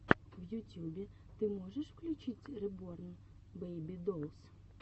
в ютюбе ты можешь включить реборн бэйби долс